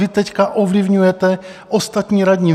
Vy teď ovlivňujete ostatní radní.